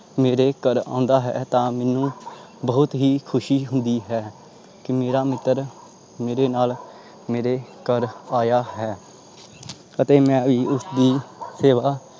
ਮੇਰੇ ਘਰ ਆਉਂਦਾ ਹੈ ਤਾਂ ਮੈਨੂੰ ਬਹੁਤ ਹੀ ਖ਼ੁਸ਼ੀ ਹੁੰਦੀ ਹੈ ਕਿ ਮੇਰਾ ਮਿੱਤਰ ਮੇਰੇ ਨਾਲ ਮੇਰੇ ਘਰ ਆਇਆ ਹੈ ਅਤੇ ਮੈਂ ਵੀ ਉਸਦੀ ਸੇਵਾ